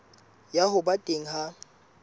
ya ho ba teng ha